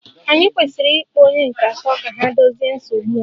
Ànyị kwesịrị ịkpọ onye nke atọ ka ha dozie nsogbu a?